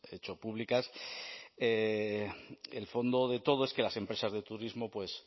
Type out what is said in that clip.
hecho públicas el fondo de todo es que las empresas de turismo pues